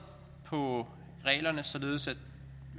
på reglerne således